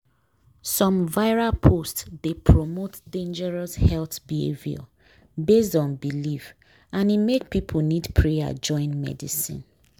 some viral post dey promote dangerous health behavior based on belief and e make people need prayer join medicine.